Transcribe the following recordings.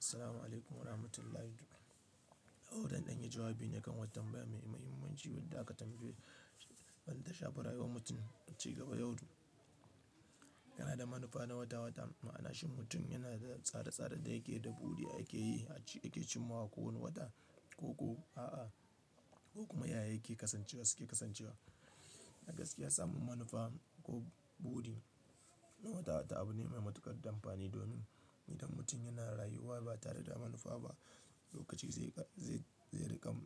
Assalamu'alaikum warahmatullahi. Zan ɗan ya jawabi ne kan wata tanbaya mai muhimmanci wanda aka tambaye wanda ta shafi rayuwan mutum ci gaba yau da gobe yana da manufa na wata-wata, ma'anashi mutum yana tsare-tsare da yake da buɗu da yake yi, ake cimawa ko wani wata ko a'a, ko kuma yaya yake kasancewa suke kasancewa. A gaskiya samun manufa ko buɗi na wata-wata abu ne mai matuƙar amfani domin idan mutum yana rayuwa ba tare da manufa ba, lokaci zai riƙar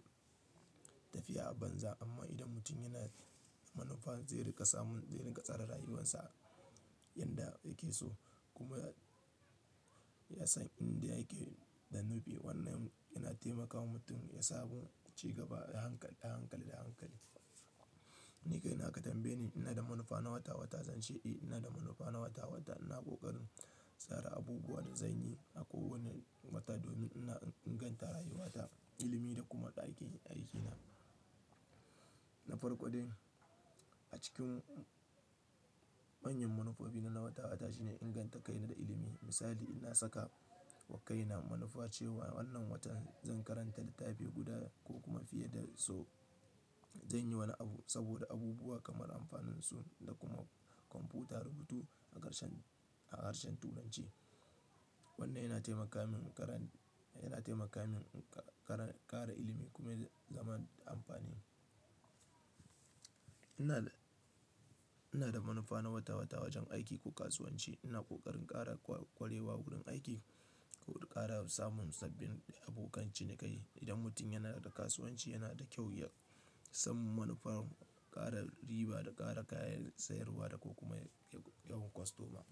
tafiya a banza amma idan mutum yana manufa zai riƙa samun, zai riƙa tsare rayuwarsa yanda yake so kuma ya san inda yake da nufi. Wannan yana taimakawa mutum ya samu ci gaba da hankali, da hankali, da hankali. Ni kai na ka tambaye ni ina da manufa na wata-wata, zan ce eh ina da manufa na wata-wata. Ina ƙoƙarin tsara abubuwa da zanyi a kowane wata domin ina inganta rayuwata, ilimi da kuma aikin, aikina. Na farko dai, a cikin manyan manufofi na na wata-wata shine inganta kaina da ilimi. Misali, ina saka wa kaina manufa cewa wannan watan zan karanta littafi guda ko kuma fiye da so. Zanyi wani abu saboda abubuwa kamar amfanin su da kuma kwamfuta rubutu a harshen, a harshen tunanci. Wannan yana taimaka min ƙara, yana taimaka min ƙara ilimi kuma zama da amfani. Ina, ina da manufa na wata-wata wajen aiki ko kasuwanci. Ina ƙoƙarin ƙara ƙwarewa wurin aiki ko ƙara samun sabbin abokan cinikayi. Idan mutum yana da kasuwanci yana da kyau ya samu manufar ƙara riba da ƙara kayan sayarwa da ko kuma yawan kwastoma.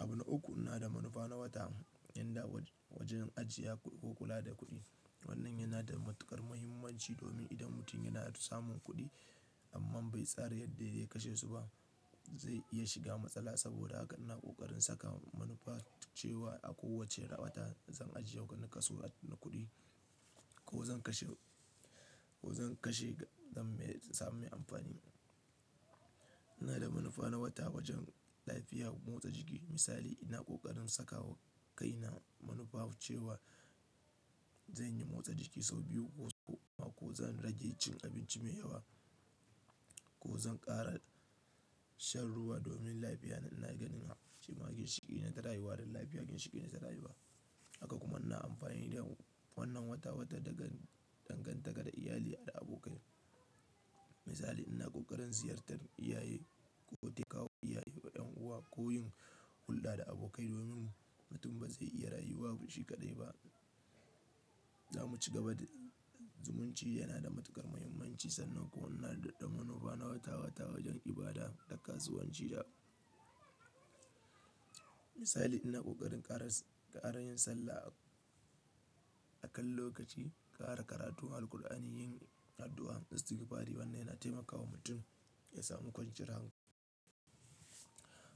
Abu na uku ina da manufa na wata yanda wajen ajiya ko kula da kuɗi. Wannan yana da matuƙar muhimmanci domin idan mutum yana samun kuɗi amma bai tsare yadda zai kashe su ba, zai iya shiga matsala saboda haka ina ƙoƙarin saka manufa cewa a kowace wata zan ajiye wani kaso na kuɗi ko zan kashe, ko zan kashe don samun amfani. Ina da manufa na wata wajen lafiya, motsa jiki. Misali, ina ƙoƙarin sakawa kaina manufa cewa zanyi motsa jiki sau biyu ko goma ko zan rage cin abinci mai yawa ko zan ƙara shan ruwa domin lafiya. Ina ganin haɓa cikin ginshiƙi ne na rayuwa da lafiya cikin ginshiƙi ne na rayuwa. Haka kuma ina amfani da wannan wata-wata daga dangantaka da iyali da abokai. Misali, ina ƙoƙarin ziyartar iyaye ko take kawo iyaye wa ƴan uwa ko yin hulɗa da abokai domin mutum ba zai iya rayuwa shi kaɗai ba. Zamu ci gaba da zumunci yana da matuƙar muhimmanci sannan kuwa ina da manufa na wata-wata wajen ibada da kasuwanci da Misali, ina ƙoƙarin ƙara yin sallah a kan lokaci, ƙara karatu, hal'u Alqur'ani, yin addu'a, zikirfari. Wannan yana taimakawa mutum ya samu kwanciyar hankali.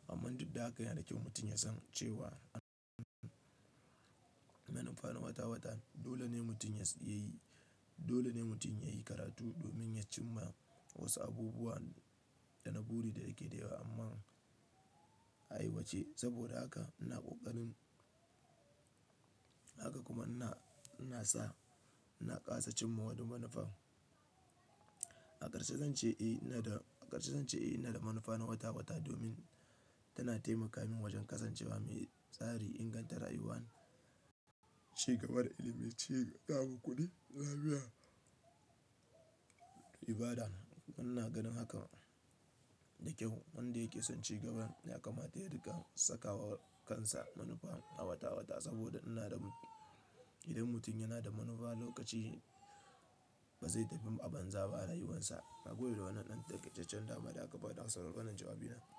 Amma duk da haka yana da kyau mutum ya san cewa manufa na wata-wata dole ne mutum yayi, dole ne mutum yayi karatu domin ya cimma wasu abubuwa da na buɗe da yake da yawa amma a yi wacce saboda haka ina ƙoƙarin, haka kuma ina, ina sa, ina kasa cimma wani manufa. A ƙarshe zan ce eh ina da, a ƙarshe zan ce eh ina da manufa na wata-wata domin tana taimaka min wajen kasancewa mai tsari, inganta rayuwa, ci gaban ilimi, ci gaban kuɗi, lafiya, ibada. Wannan na ganin haka da kyau. Wanda yake son cigaban ya kamata ya riƙa saka wa kansa manufa na wata-wata saboda ina da, idan mutum yana da manufa lokaci ba zai tafi a banza ba rayuwansa. Haka gobe da wannan ɗan taƙaitaccen damar da aka bani. Haka sarda ƙanan jawabi na.